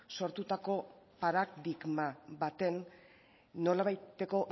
sortutako paradigma baten nolabaiteko